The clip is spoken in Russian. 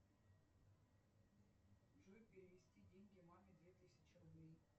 джой перевести деньги маме две тысячи рублей